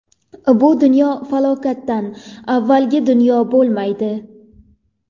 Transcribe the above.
Bu dunyo falokatdan avvalgi dunyo bo‘lmaydi.